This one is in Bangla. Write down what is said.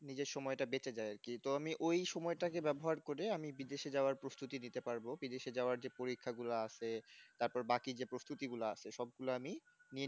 নিজের সময়টা বেঁচে যায় আর কি তো তো আমি ওই সময়টা কে ব্যবহার করে আমি বিদেশে যাওয়ার প্রস্তুতি নিতে পারব বিদেশে যাওয়ার যে পরীক্ষা গুলা আছে তারপর বাকি যে প্রস্তুতি গুলো আছে সবগুলো আমি নিয়ে